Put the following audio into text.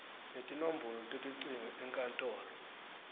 netinombolo telucingo enkantolo